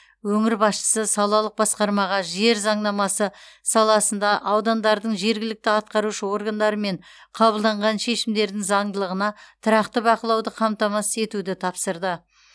өңір басшысы салалық басқармаға жер заңнамасы саласында аудандардың жергілікті атқарушы органдарымен қабылданған шешімдердің заңдылығына тұрақты бақылауды қамтамасыз етуді тапсырды